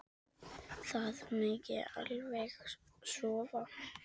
Það megi alveg sofa.